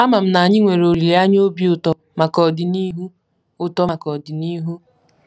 Ama m na anyị nwere olileanya obi ụtọ maka ọdịnihu ụtọ maka ọdịnihu.